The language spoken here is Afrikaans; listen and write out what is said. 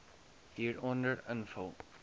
hieronder invul